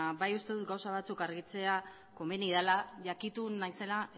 bai uste dut gauza batzuk argitzea komeni dela jakitun naizela